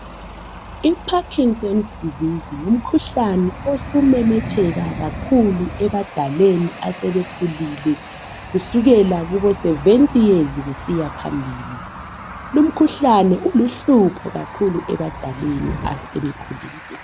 I"Parkingson's disease " ngumkhuhlane osumemetheka kakhulu ebadaleni asebekhulile kusukela kubo" 70 years " kusiya phambili. Lumkhuhlane uluhlupho kakhulu ebadaleni asebekhulile.